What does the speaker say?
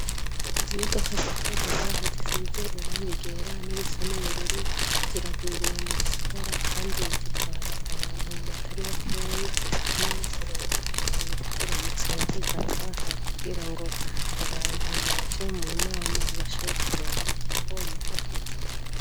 izi imodoka rihagaze ngaha zisize irangi ryera nirisa nubururu ziragwiriye mu gisagara kandi zitwara abantu batari bakeyi nomunsi rero bari ziramutse bizaga ha kubwira ngo abantu baje mu nama bashobora kuronka ko bipakiza